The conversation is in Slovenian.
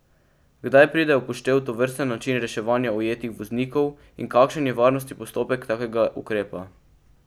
Kdaj pride v poštev tovrsten način reševanja ujetih voznikov in kakšen je varnostni postopek takega ukrepa?